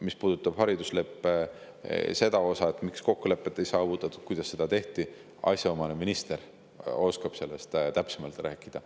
Mis puudutab seda, miks haridusleppe puhul kokkulepet ei saavutatud ja kuidas seda tehti, siis asjaomane minister oskab sellest täpsemalt rääkida.